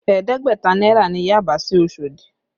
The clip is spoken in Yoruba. Ẹ̀ẹ́dẹ́gbẹ̀ta náírà ni Yaba sí Osodi